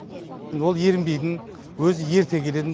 ол ерінбейтін өзі ерте келетін